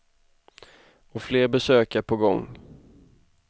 Och fler besök är på gång.